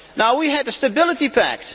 We had the Stability Pact.